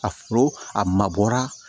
A foro a mabɔra